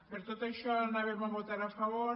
per tot això anàvem a votar a favor